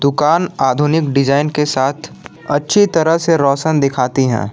दुकान आधुनिक डिजाइन के साथ अच्छी तरह से रोशन दिखाती हैं।